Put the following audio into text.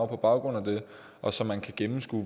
på baggrund af det og så man kan gennemskue